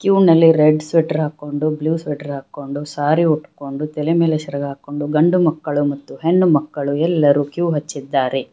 Q ನಲ್ಲಿ red sweater ಹಾಕೊಂಡು blue sweater ಹಾಕೊಂಡು ಸಾರಿ ಹುಟ್ಕೊಂಡು ತಲೆ ಮೇಲೆ ಸೆರಗು ಹಾಕೊಂಡು ಗಂಡು ಮಕ್ಕಳು ಮತ್ತು ಹೆಣ್ಣು ಮಕ್ಕಳು ಎಲ್ಲರೂ ಕ್ಯೂ ಹಚ್ಚಿದ್ದಾರೆ.